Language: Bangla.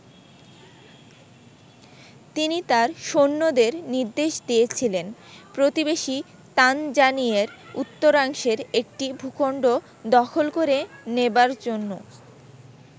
তিনি তার সৈন্যদের নির্দেশ দিয়েছিলেন, প্রতিবেশী তানজানিয়ের উত্তরাংশের একটি ভূখন্ড দখল করে নেবার জন্য।